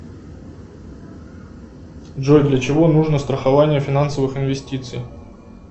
джой для чего нужно страхование финансовых инвестиций